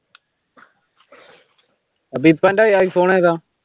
അതിപ്പോ അന്റെ iphone ഏതാ?